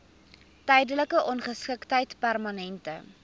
tydelike ongeskiktheid permanente